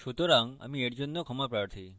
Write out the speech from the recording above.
সুতরাং আমি এর জন্য ক্ষমাপ্রার্থী